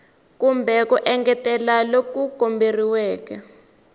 kumbe ku engetela loku komberiweke